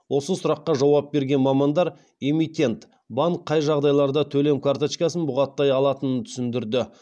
осы сұраққа жауап берген мамандар эмитент банк қай жағдайларда төлем карточкасын бұғаттай алатынын түсіндірді